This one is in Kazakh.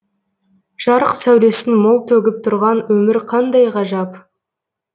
жарық сәулесін мол төгіп тұрған өмір қандай ғажап